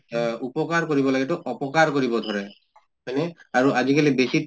অহ উপকাৰ কৰিব লাগে এইটো অপকাৰ কৰিব ধৰে, হয় নে? আৰু আজি কালি বেছি